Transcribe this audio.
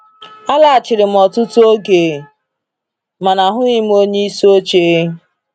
Alaghachiri m ọtụtụ oge, mana ahụghị m onyeisi oche.